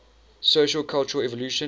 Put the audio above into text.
sociocultural evolution